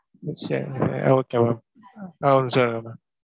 okay madam ஒரு நிமிஷம் இருங்க ma'am.